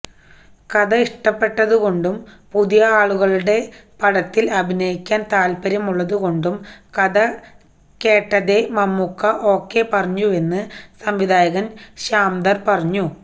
കഥ ഇഷ്ടപ്പെട്ടതുകൊണ്ടും പുതിയ ആളുകളുടെ പടത്തില് അഭിനയിക്കാന് താല്പ്പര്യമുള്ളതുകൊണ്ടും കഥ കേട്ടതേ മമ്മുക്ക ഓക്കെ പറഞ്ഞുവെന്ന് സംവിധായകൻ ശ്യാംധർ പറയുന്നു